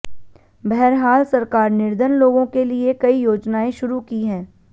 बहरहाल सरकार निर्धन लोगों के लिए कई योजनाएं शुरू की हैं